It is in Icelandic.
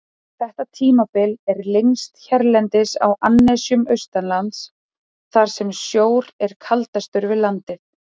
Þetta tímabil er lengst hérlendis á annesjum austanlands, þar sem sjór er kaldastur við landið.